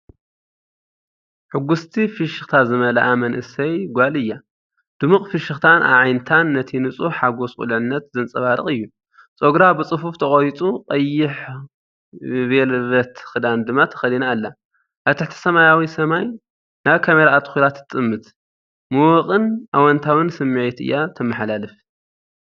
ሕጉስቲ ፍሽኽታ ዝመልኣ መንእሰይ ጓል እያ። ድሙቕ ፍሽኽታን ኣዒንታን ነቲ ንጹህ ሓጎስ ቁልዕነት ዘንጸባርቕ እዩ። ጸጉራ ብጽፉፍ ተቖሪጹ፡ ቀይሕ ቬልቨት ክዳን ድማ ተኸዲና ኣላ። ኣብ ትሕቲ ሰማያዊ ሰማይ፡ናብ ካሜራ ኣተኲራ ትጥምት። ምዉቕን ኣወንታዊን ስምዒት እያ እተመሓላልፍ።